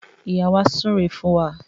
Ìyá wa súre fún wa